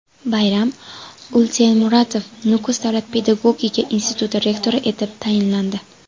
Bayram Utemuratov Nukus davlat pedagogika instituti rektori etib tayinlandi.